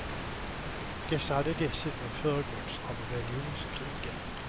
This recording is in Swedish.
Dessa hade dessutom föregåtts av religionskrigen.